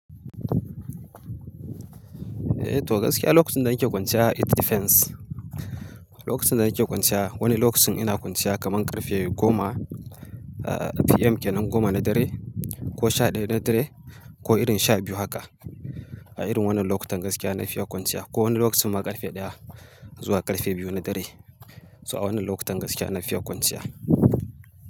Eh to gaskiya lokacin da nake kwanciya it depends. Lokacin da nake kwanciya wani lokacin ina kwanciya kaman karfe goma PM kenan goma na dare ko sha ɗaya na dare ko irin sha biyu haka a irin wannan lokutan gaskiya na fiya kwanciya ko wani lokacin ma karfe ɗaya zuwa karfe biyu na dare. So a wannan lokutan gaskiya na fiya kwanciya.